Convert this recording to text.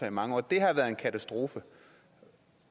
i mange år det har været en katastrofe